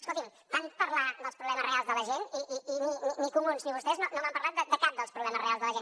escolti’m tant parlar dels problemes reals de la gent i ni comuns ni vostès no m’han parlat de cap dels problemes reals de la gent